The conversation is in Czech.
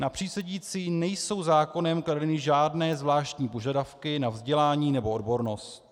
Na přísedící nejsou zákonem kladeny žádné zvláštní požadavky na vzdělání nebo odbornost.